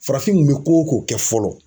Farafin kun bɛ ko o ko kɛ fɔlɔ.